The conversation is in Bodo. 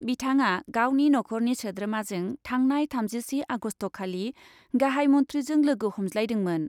बिथाङा गावनि नखरनि सोद्रोमाजों थांनाय थामजिसे आगस्टखालि गाहाइ मन्थ्रिजों लोगो हमज्लायदोंमोन।